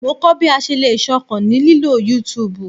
Mo kọ bi a ṣe le ṣọkan ni lilo YouTube